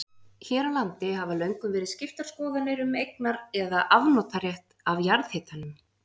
Hér á landi hafa löngum verið skiptar skoðanir um eignar- eða afnotarétt af jarðhitanum.